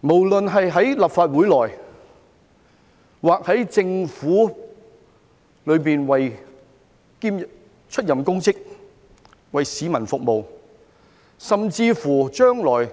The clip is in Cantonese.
無論是在立法會或政府出任公職、為市民服務，甚至將來